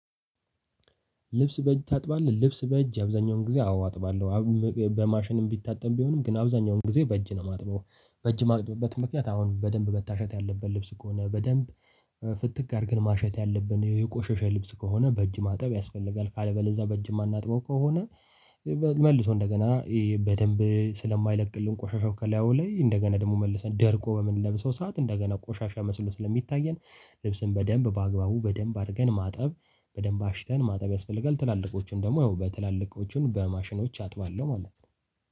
ልብስ በእጅ ታጥባለህ ልብስ በእጅ አብዛኛውን ጊዜ አዎ አጥባለሁ። በማሽንም ሚታጠብ ቢሆንም ግን አብዛኛውን ጊዜ በእጅ ነው የማጥበው በእጅ ማጥበው ምክንያት አሁን በደንብ መታሸት ያለበት ልብስ ከሆነ በደንብ ፍትግ አርገን ማሸት ያለብን የቆሸሸ ልብስ ከሆነ በእጅ ማጠብ ያስፈልጋል። ካለበለዛ በእጅ የማናጥበው ከሆነ። መልሶ እንደገና በደንብ ስለማይለቅልን ቆሻሻው ከላይ አዎ ላይ እንደገና ደግሞ መልሰን ደርቆ በምንለብሰው ሰዓት እንደገና ቆሻሻ መስሎ ስለሚታየን። ልብስን በደንብ በአግባቡ በደንብ አድርገን ማጠብ በደንብ አሽተን ማጠብ ያስፈልጋል። ትላልቆቹን ደግሞ ያው በትላልቆቹን በማሽኖች አጥባለሁ ማለት ነው።